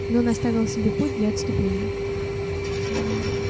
но он оставил себе путь для отступления